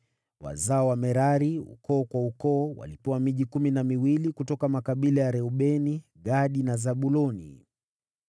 Wazao wa Merari, ukoo kwa ukoo walipewa miji kumi na miwili kutoka makabila ya Reubeni, Gadi na Zabuloni.